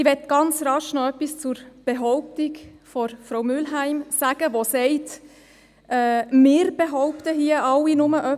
Ich möchte kurz noch etwas zur Behauptung von Frau Mühlheim sagen, die sagt, wir würden hier alle bloss etwas behaupten.